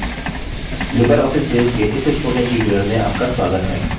libreoffice base के इस spoken tutorial में आपका स्वागत है